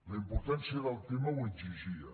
la importància del tema ho exigia